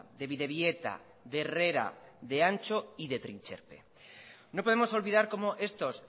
de bidebieta de herrera de antxo y de trintxerpe no podemos olvidar como estos